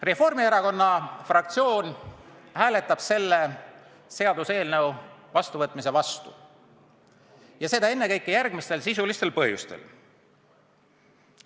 Reformierakonna fraktsioon hääletab selle seaduseelnõu vastuvõtmise vastu ja teeb seda ennekõike järgmistel sisulistel põhjustel.